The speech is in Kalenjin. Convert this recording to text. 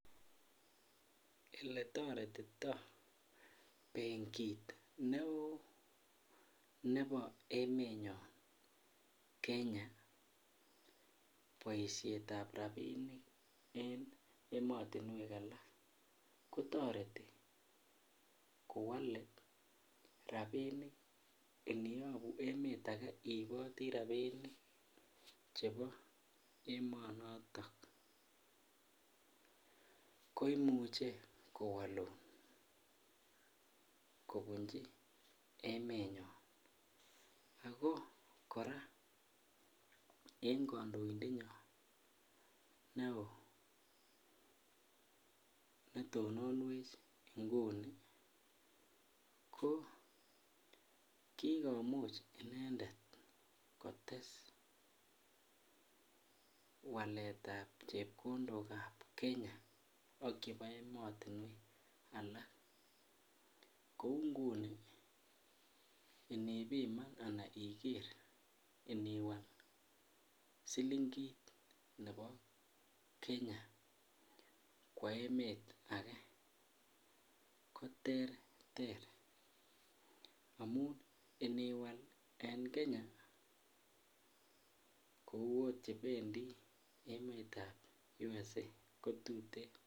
Eletoretito benkit neoo nebo emenyon, Kenya boisietab rapinik en ematinwek alak, kotoreti kowale rapinik. Iniyabu emet age iiboti rapinik chebo emonoto koimuche kowalun kobunji emenyon. Ago kora en kandoindenyon neo ko kikomuch inendet kotes waletab chepkondokab Kenya ak chebo imatunwek akak. Kou inguni inipiman ana iniger ana iwal silingit nebo Kenya kwo emet age koterter amun iniwal en Kenya kou oot chebendi emetab USA, kotuten.